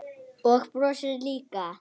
Og brosti líka.